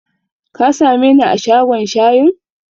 Ka sameni a shagon shayin?